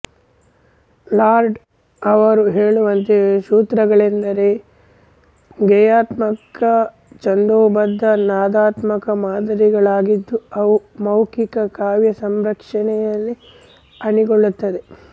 ಲಾರ್ಡಾ ಅವರು ಹೇಳುವಂತೆ ಸೂತ್ರಗಳೆಂದರೆ ಗೇಯಾತ್ಮಕ ಛಂದೋಬಧ್ಧ ನಾದಾತ್ಮಕ ಮಾದರಿಗಳಾಗಿದ್ದು ಅವು ಮೌಕಿಕ ಕಾವ್ಯ ಸಂರಚನೆಯಲ್ಲಿ ಅಣಿಗೊಳ್ಳುತ್ತವೆ